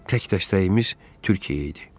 Tək dəstəyimiz Türkiyə idi.